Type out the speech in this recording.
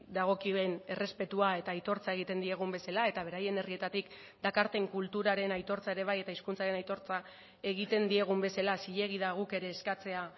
dagokien errespetua eta aitortza egiten diegun bezala eta beraien herrietatik dakarten kulturaren aitortza ere bai eta hizkuntzaren aitortza egiten diegun bezala zilegi da guk ere eskatzea